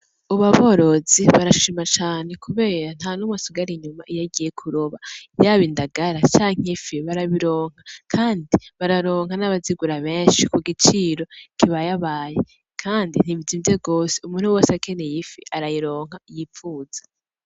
Ubu aborozi barashima cane kubera ntanumwe asigara inyumva iyo bagiye kuroba, yaba indagara canke ifi barabironka, kandi bararonka n'abazigura benshi kugiciro kibayabaye, kandi ntibizimvye gose umuntu wese akeneye ifi arayironka yipfuza.